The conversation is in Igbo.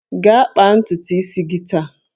Gaa kpaa ntutu isi gị taa!